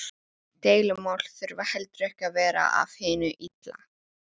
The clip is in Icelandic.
Deilumál þurfa heldur ekki að vera af hinu illa.